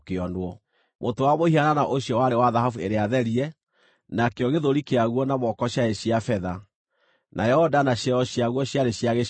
Mũtwe wa mũhianano ũcio warĩ wa thahabu ĩrĩa therie, nakĩo gĩthũri kĩaguo na moko ciarĩ cia betha, nayo nda na ciero ciaguo ciarĩ cia gĩcango,